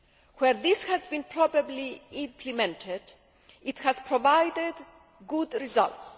Where this has been properly implemented, it has provided good results.